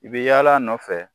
I bɛ yaala a nɔfɛ